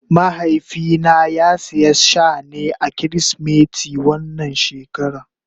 Mahaifi na ya siya Shane a kirisimeti wannan shekara.